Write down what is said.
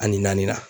Ani naani